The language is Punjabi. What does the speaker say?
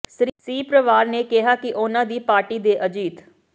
ਸ੍ਰੀ ਪਵਾਰ ਨੇ ਕਿਹਾ ਕਿ ਉਨ੍ਹਾਂ ਦੀ ਪਾਰਟੀ ਦੇ ਅਜੀਤ